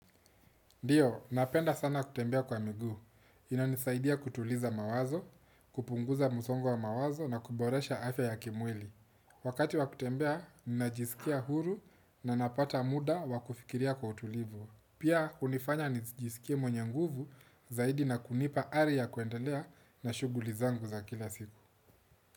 Ndio, napenda sana kutembea kwa miguu. Inanisaidia kutuliza mawazo, kupunguza msongo wa mawazo na kuboresha afya ya kimwili. Wakati wa kutembea, ninajisikia huru na napata muda wa kufikiria kwa utulivu. Pia, hunifanya nijisikie mwenye nguvu zaidi na kunipa hali ya kuendelea na shughuli zangu za kila siku.